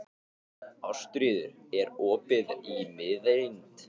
Ástríður, er opið í Miðeind?